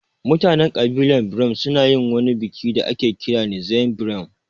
Mutanen ƙabilar birom su na yin wani biki da ake kira ''Nzem Berom''